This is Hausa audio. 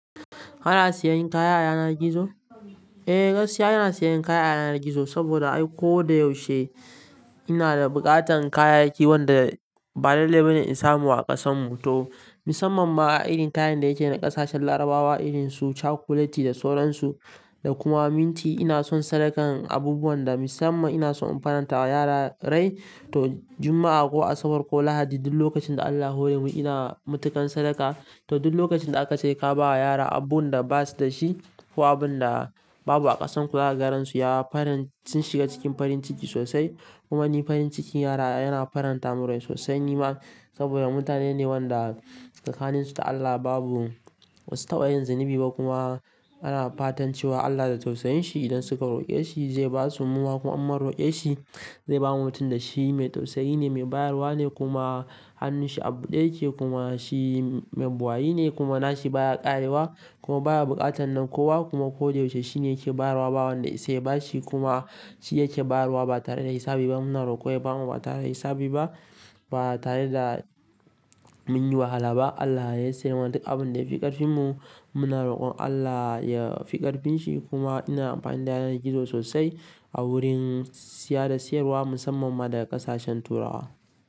Kana sayan kaya a yanar gizo? Eh, gaskiya ina sayan kaya a yanar gizo saboda ai ko da yaushe ina da buƙatan kayayyaki wanda ba lalle bane in samu a ƙasanmu to musamman ma a irin kayan da yake na ƙasashen larabawa irin su cakuleti da soran su da kuma minti. Ina son sadakan abubuwan da musamman ina son in faranta wa yara rai to juma'a ko asabar ko lahadi duk lokacin da Allah ya hore mu ina matukan sadaka to duk lokacin da aka ce ka ba yara abubuwan da basu da shi ko abun da babu a ƙasan ku zaka ga ransu ya faranci sun shiga cikin farin ciki sosai. Kuma ni farin cikin yara yana faranta min rai sosai nima saboda mutane ne wanda tsakanninsu da Allah babu basu tabayin zunubi ba kuma ana fatan cewa Allah da tausayinshi idan suka roƙe shi zai basu muma. Kuma in mun roƙe shi zai bamu tunda shi mai tausayi ne, mai bayarwa ne kuma hannun shi abu ɗaya yake kuma shi mai buayi ne kuma nashi baya ƙarewa kuma baya buƙatan na kowa kuma ko da yaushe shine yake bayarwa ba wanda ya isa ya bashi kuma shi yake bayarwa ba tare da hisabi ba. Muna roƙon ya bamu mata me hisabi ba ba tare da mun yi wahala ba. Allah yayi sayarwar duk abun da ya fi ƙarfinmu muna roƙon Allah ya fi ƙarfin shi kuma ina amfani da yanar gizo sosai a wurin siya da siyarwa musamman ma da ƙasashen turawa.